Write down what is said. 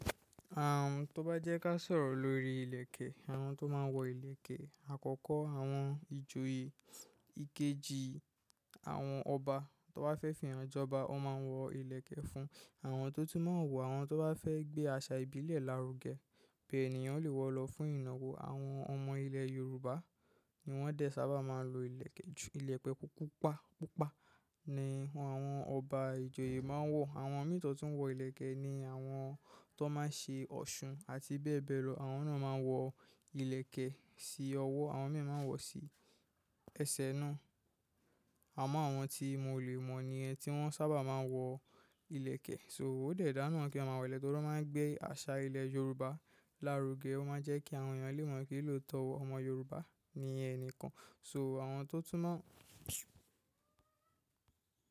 Tó bá jẹ́ ká sọ̀rọ̀ lórí ìlẹ̀kẹ̀, àwọn tó máa ń wọ ìlẹ̀kẹ̀ àkọ́kọ́, àwọn ìjòyè, ìkejì, àwọn ọba tó bá fẹ́ fì eyan jọba, wọ́n máa ń wọ ìlẹ̀kẹ̀ fún. Àwọn tó tún máa ń wọ, àwọn tó bá fẹ́ gbé àṣà ìbílẹ̀ lárugẹ, pé ènìyàn lè wọ̀ lọ fún ìnáwó. Àwọn ọmọ ilẹ̀ Yorùbá ni wọ́n de sábà máa ń lo ìlẹ̀kẹ̀ jù. Ilẹ̀kẹ̀ púpa, pupa ni àwọn ọba ìjòyè máa ń wọ. Àwọn mì to tuń wọ ìlẹ̀kẹ̀ ni àwọn tó máa ń ṣe Ọ̀ṣun àti bẹ́ẹ̀ bẹ́ẹ̀ lọ. Àwọn náà máa ń wọ ìlẹ̀kẹ̀ sí ọwọ́, àwọn mìíràn máa ń wọ̀ sí ẹsẹ̀ náà. Àwọn ti mo le mo niyen ti won sábà maa n wo ileke. So ó de dáa náà kí a máa wọ ìlẹ̀kẹ̀ torí o máa ń gbé àṣà ilẹ̀ Yorùbá lárugẹ. O máa ń jẹ́ kí àwọn èèyàn lè mọ̀ wípé lóotọ̀ ọmọ Yorùbá ní ẹnìkan. So àwọn to tun maa n.